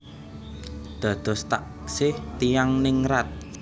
Dados taksih tiyang ningrat